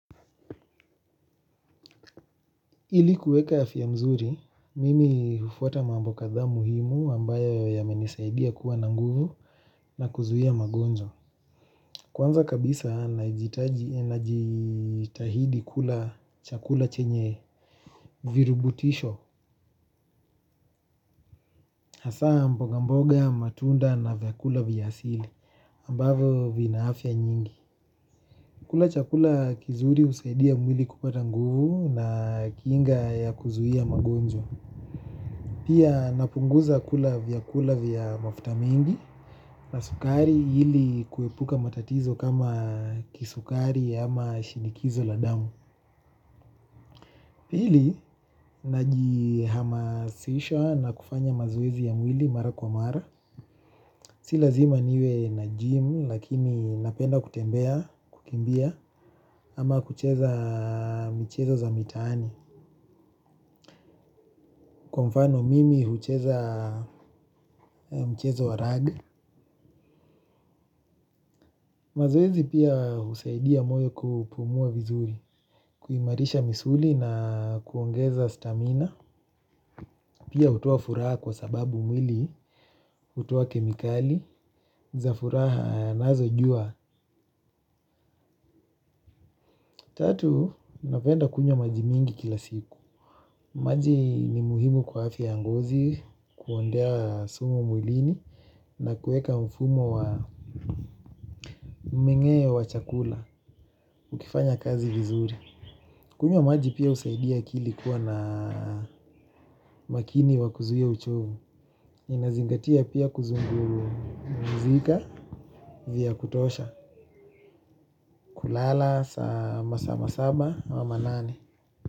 Ili kuweka afya mzuri, mimi hufuata mambo kadhaa muhimu ambayo yamenisaidia kuwa na nguvu na kuzuia magonjwa. Kwanza kabisa najitahidi kula chakula chenye virubutisho. Hasaa mboga mboga matunda na vyakula vya asili ambavo vina afya nyingi. Kula chakula kizuri husaidia mwili kupata nguvu na kinga ya kuzuia magonjwa. Pia napunguza kula vyakula vya mafuta mingi na sukari ili kuepuka matatizo kama kisukari ama shinikizo la damu. Pili, najihamasisha na kufanya mazoezi ya mwili mara kwa mara. Si lazima niwe na gym lakini napenda kutembea, kukimbia ama kucheza michezo za mitaani. Kwa mfano mimi hucheza mchezo wa raga. Mazoezi pia husaidia moyo kupumua vizuri, kuimarisha misuli na kuongeza stamina. Pia hutoa furaha kwa sababu mwili, hutoa kemikali, za furaha nazo jua. Tatu, napenda kunywa maji mingi kila siku. Maji ni muhimu kwa afya ya ngozi, kuondoa sumu mwilini na kuweka mfumo wa mingeo wa chakula, ukifanya kazi vizuri. Kunywa maji pia husaidia akili kuwa na makini wa kuzuia uchovu. Inazingatia pia kuzungumzika vya kutosha. Kulala saa masaa masaba ama manane.